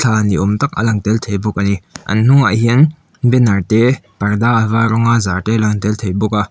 thla ni awm tak a lang tel thei bawk a ni an hnungah hian banner te parda a var rawnga zar te a lang tel thei bawk a.